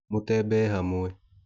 mũtembee hamwe